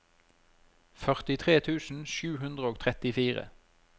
førtitre tusen sju hundre og trettifire